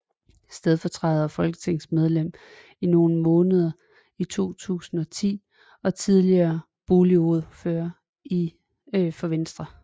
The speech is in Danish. Stedfortræder og folketingsmedlem i nogle måneder i 2010 og er tidligere boligordfører for Venstre